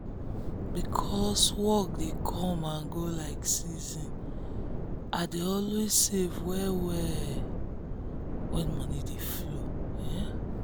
because work dey come and go like season i dey always save well-well when money dey flow.